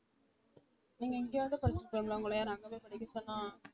நீங்க இங்க வந்து படிச்சிருக்கலாம்ல உங்கள யாரு அங்க போய் படிக்க சொன்னா